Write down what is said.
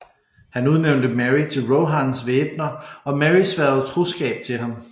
Han udnævnte Merry til Rohans væbner og Merry sværgede troskab til ham